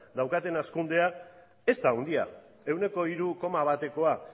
daukaten hazkundea ez da handia ehuneko hiru koma batekoa